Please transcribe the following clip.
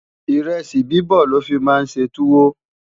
iresi bibọ lofi má n ṣé tuwo